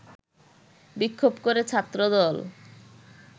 বিক্ষোভ করে ছাত্রদল